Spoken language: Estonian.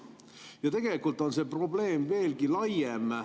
Ja tegelikult on see probleem veelgi laiem.